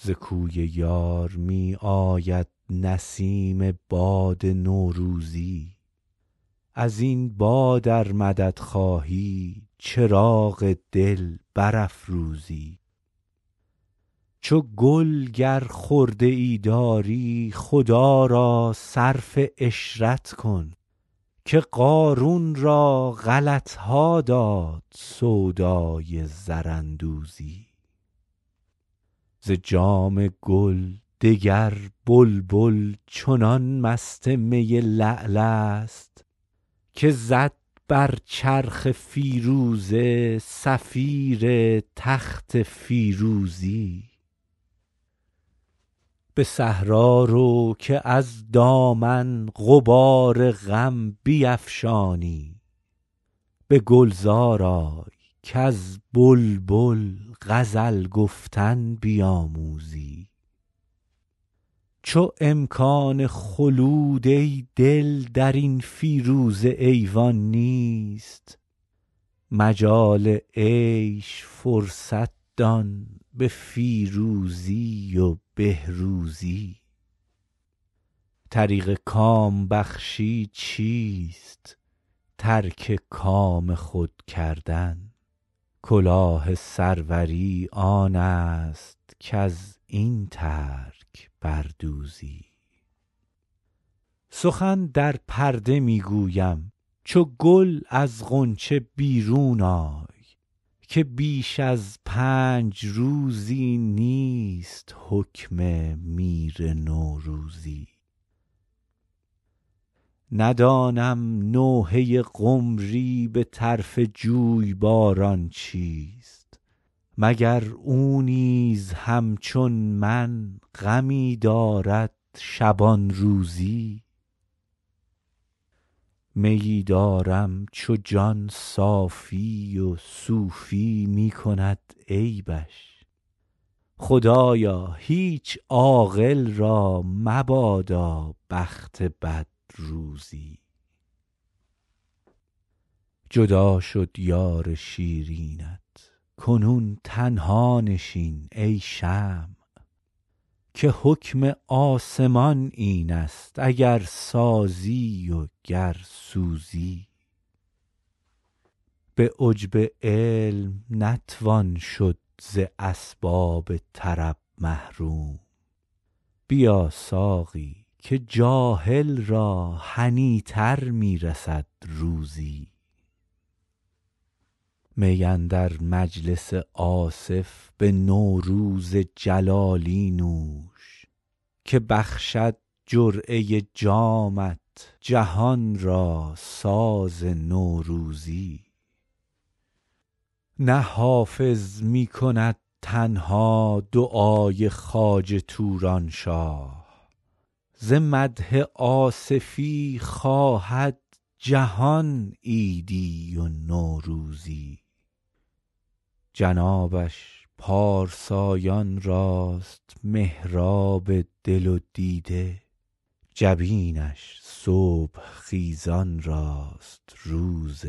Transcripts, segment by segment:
ز کوی یار می آید نسیم باد نوروزی از این باد ار مدد خواهی چراغ دل برافروزی چو گل گر خرده ای داری خدا را صرف عشرت کن که قارون را غلط ها داد سودای زراندوزی ز جام گل دگر بلبل چنان مست می لعل است که زد بر چرخ فیروزه صفیر تخت فیروزی به صحرا رو که از دامن غبار غم بیفشانی به گلزار آی کز بلبل غزل گفتن بیاموزی چو امکان خلود ای دل در این فیروزه ایوان نیست مجال عیش فرصت دان به فیروزی و بهروزی طریق کام بخشی چیست ترک کام خود کردن کلاه سروری آن است کز این ترک بر دوزی سخن در پرده می گویم چو گل از غنچه بیرون آی که بیش از پنج روزی نیست حکم میر نوروزی ندانم نوحه قمری به طرف جویباران چیست مگر او نیز همچون من غمی دارد شبان روزی میی دارم چو جان صافی و صوفی می کند عیبش خدایا هیچ عاقل را مبادا بخت بد روزی جدا شد یار شیرینت کنون تنها نشین ای شمع که حکم آسمان این است اگر سازی و گر سوزی به عجب علم نتوان شد ز اسباب طرب محروم بیا ساقی که جاهل را هنی تر می رسد روزی می اندر مجلس آصف به نوروز جلالی نوش که بخشد جرعه جامت جهان را ساز نوروزی نه حافظ می کند تنها دعای خواجه توران شاه ز مدح آصفی خواهد جهان عیدی و نوروزی جنابش پارسایان راست محراب دل و دیده جبینش صبح خیزان راست روز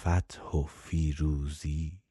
فتح و فیروزی